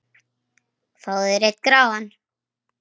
Fáðu þér einn gráan!